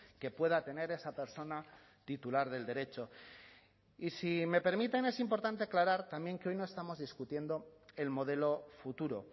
que pueda tener esa persona titular del derecho y si me permiten es importante aclarar también que hoy no estamos discutiendo el modelo futuro